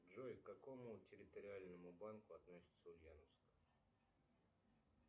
джой к какому территориальному банку относится ульяновск